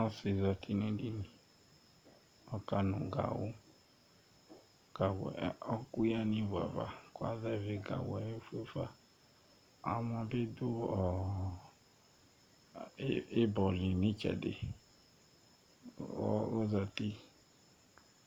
Ɔsɩ dɩ zati nʋ edini Ɔkanʋ gawʋ Gawʋ yɛ ɔɣɔkʋ yǝ nʋ ivu ava kʋ azɛvɩ gawʋ yɛ fue fa Amɔ bɩ dʋ ɔɔ ɩbɔ li nʋ ɩtsɛdɩ Ɔɔ ɔzati